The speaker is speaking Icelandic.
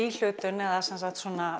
svona